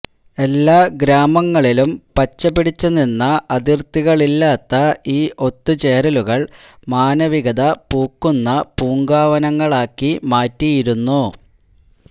എല്ലാ ഗ്രാമങ്ങളിലും പച്ചപിടിച്ചുനിന്ന അതിര്ത്തികളില്ലാത്ത ഈ ഒത്തുചേരലുകള് മാനവികത പൂക്കുന്ന പൂങ്കാവനങ്ങളാക്കി മാറ്റിയിരുന്നു